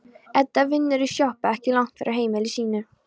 Edda vinnur í sjoppu ekki langt frá heimili sínu.